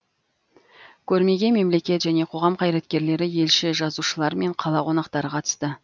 көрмеге мемлекет және қоғам қайраткерлері елші жазушылар мен қала қонақтары қатысты